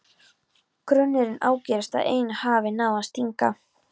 Grunurinn ágerist að ein hafi náð að stinga.